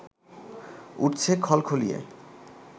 উঠছে খলখলিয়ে